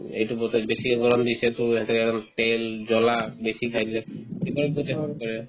এইটো বতৰ বেছিকে গৰম দিছেতো ইহঁতে আৰু তেল জ্বলা বেছি খাই দিলে পিছত গৈতো effect কৰে